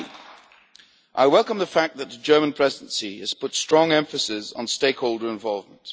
Lastly, I welcome the fact that the German G20 Presidency has put strong emphasis on stakeholder involvement.